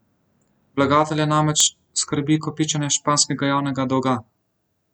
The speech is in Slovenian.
Vlagatelje namreč skrbi kopičenje španskega javnega dolga.